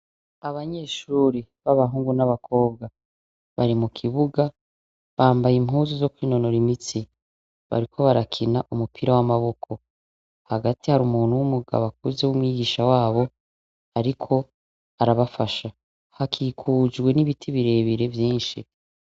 Abanyeshuri b'abahungu n'abakobwa bari mu kibuga bambaye impuzu zo kwinonora imitsi bariko barakina umupira w'amaboko hagati hari umuntu w'umugabo akuze b'umwigisha wabo, ariko arabafasha hakikujwe n'ibiti birebire vyinshi.